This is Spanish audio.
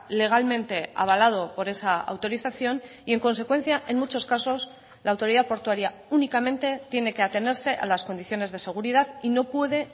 legalmente avalado por esa autorización y en consecuencia en muchos casos la autoridad portuaria únicamente tiene que atenerse a las condiciones de seguridad y no puede